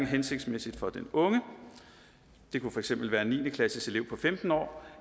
hensigtsmæssigt for den unge det kunne for eksempel være en niende klasseelev på femten år